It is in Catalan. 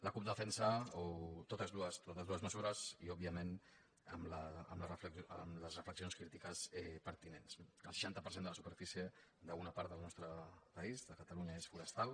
la cup defensa totes dues mesures i òbviament amb les reflexions crítiques pertinents no el seixanta per cent de la superfície d’una part del nostre país de catalu·nya és forestal